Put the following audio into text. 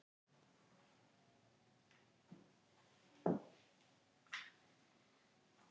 Með því að rekja og bera saman jarðmyndanir á mörgum svæðum fæst yfirlit yfir jarðsöguna.